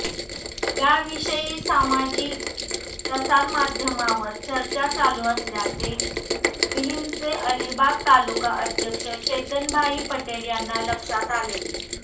याविषयी सामाजिक प्रसारमाध्यमांवर चर्चा चालू असल्याचे विहिंपचे अलिबाग तालुका अध्यक्ष चेतनभाई पटेल यांना लक्षात आले